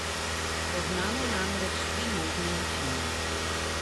Poznamo namreč tri možne načine.